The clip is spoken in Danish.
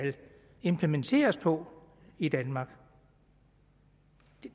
implementeres på i danmark